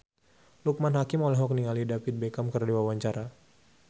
Loekman Hakim olohok ningali David Beckham keur diwawancara